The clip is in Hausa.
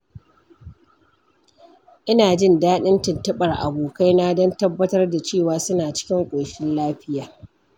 Ina jin daɗin tuntuɓar abokaina don tabbatar da cewa suna cikin ƙoshin lafiya.